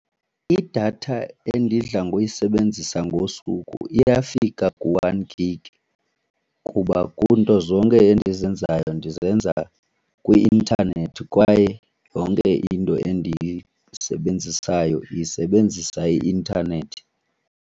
Idatha endidla ngoyisebenzisa ngosuku iyafika ku-one gig kuba kunto zonke endizenzayo ndizenza kwi-intanethi kwaye yonke into endiyisebenzisayo isebenzisa i-intanethi.